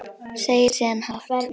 Segir síðan hátt: